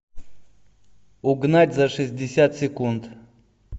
угнать за шестьдесят секунд